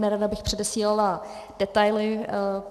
Nerada bych předesílala detaily.